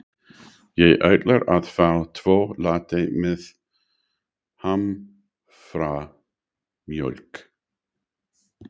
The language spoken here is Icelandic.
Ég ætla að fá tvo latte með haframjólk.